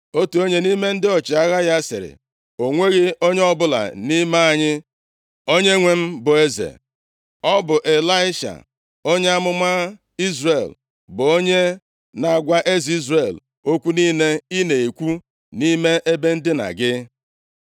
Otu onye nʼime ndị ọchịagha ya sịrị, “O nweghị onye ọbụla nʼime anyị, onyenwe m bụ eze. Ọ bụ Ịlaisha, onye amụma Izrel, bụ onye na-agwa eze Izrel okwu niile i na-ekwu nʼime ebe ndina gị.”